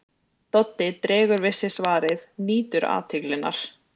Doddi dregur við sig svarið, nýtur athyglinnar.